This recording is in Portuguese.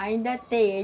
Ainda tem.